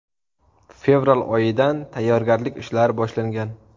Fevral oyidan tayyorgarlik ishlari boshlangan.